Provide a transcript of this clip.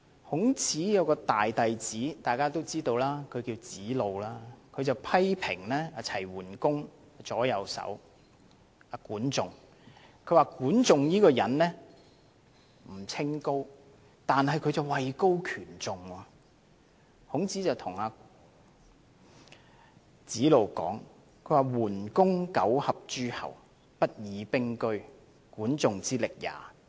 大家都知道，孔子的大弟子名為子路，他批評齊桓公的左右手管仲人不清高，但卻位高權重，於是孔子對子路說："桓公九合諸候，不以兵車，管仲之力也！